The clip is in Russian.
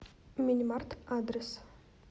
минимарт адрес